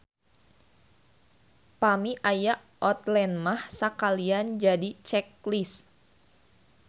Pami aya outline mah sakalian jadi check list.